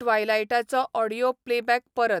ट्वाइलाइटाचो audio playback परत